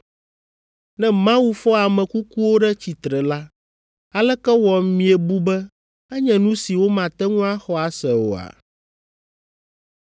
Ne Mawu fɔ ame kukuwo ɖe tsitre la, aleke wɔ miebu be enye nu si womate ŋu axɔ ase oa?